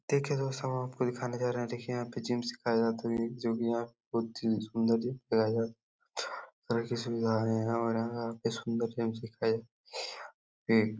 देखिए दोस्तों हम आपको दिखाने जा रहे हैं देखिए यहाँ पे जिम सीखा जाता है जो की यहाँ पे बहोत ही सुन्दर है। --